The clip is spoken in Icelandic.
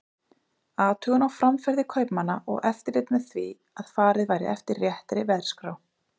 Athugun á framferði kaupmanna og eftirlit með því að farið væri eftir réttri verðskrá.